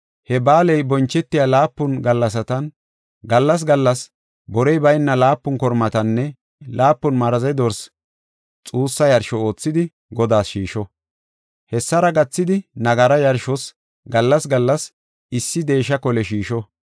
He ba7aaley bonchetiya laapun gallasatan gallas gallas borey bayna laapun kormatanne laapun maraze dorsi xuussa yarsho oothidi, Godaas shiisho. Hessara gathidi nagara yarshos gallas gallas issi deesha kole shiisho.